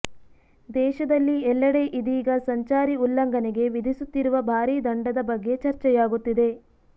ದೇಶದಲ್ಲಿ ಎಲ್ಲೆಡೆ ಇದೀಗ ಸಂಚಾರಿ ಉಲ್ಲಂಘನೆಗೆ ವಿಧಿಸುತ್ತಿರುವ ಭಾರಿ ದಂಡದ ಬಗ್ಗೆ ಚರ್ಚೆಯಾಗುತ್ತಿದೆ